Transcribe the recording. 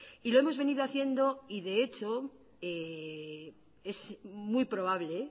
y lo hemos venido haciendo y de hecho es muy probable